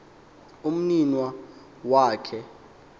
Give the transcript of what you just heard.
umninawa wak he